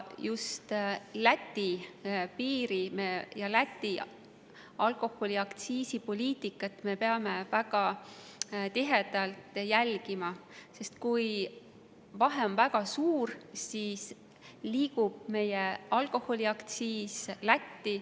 Just Läti piiri ja Läti alkoholiaktsiisi poliitikat peame me väga tihedalt jälgima, sest kui vahe on väga suur, siis liigub meie alkoholiaktsiis Lätti.